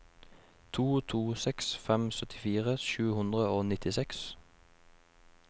to to seks fem syttifire sju hundre og nittiseks